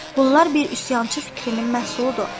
Bunlar bir üsyançı fikrinin məhsuludur.